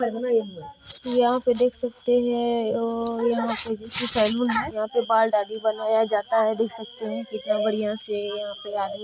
यहाँ पर देख सकते है आ यहाँ पे सैलून है यहाँ पे बाल दाड़ी बनाया जाता है देख सकते हैं कितना बड़िया से यहाँ पे आदमी --